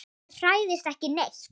Hann hræðist ekki neitt.